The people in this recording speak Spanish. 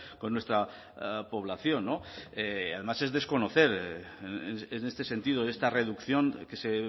con nuestra población además es desconocer en este sentido esta reducción que se